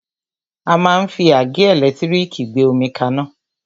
A máa ń fi àgẹ́ ẹ̀lẹ́tírìkì gbé omi kaná.